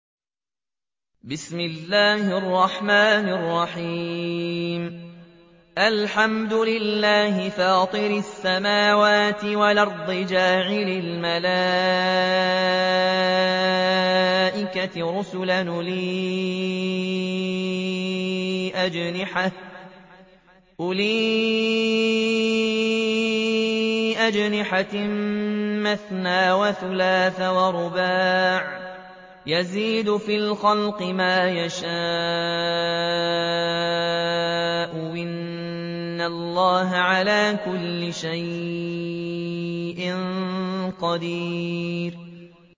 الْحَمْدُ لِلَّهِ فَاطِرِ السَّمَاوَاتِ وَالْأَرْضِ جَاعِلِ الْمَلَائِكَةِ رُسُلًا أُولِي أَجْنِحَةٍ مَّثْنَىٰ وَثُلَاثَ وَرُبَاعَ ۚ يَزِيدُ فِي الْخَلْقِ مَا يَشَاءُ ۚ إِنَّ اللَّهَ عَلَىٰ كُلِّ شَيْءٍ قَدِيرٌ